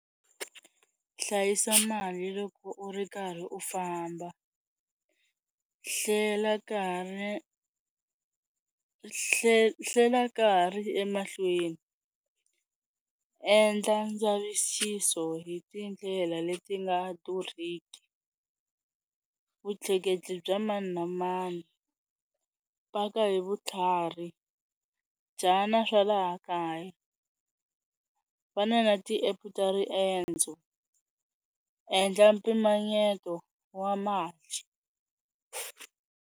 Hlayisa mali loko u ri karhi u famba, hlela nkarhi, hle hlela nkarhi emahlweni endla ndzavisiso hi tindlela leti nga durhiki. Vutleketli bya mani na mani, paka hi vutlhari dyana swa laha kaya va na na ti-app-e ta riendzo, endla mpimanyeto wa mali.